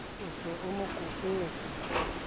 o se a mo kopetswe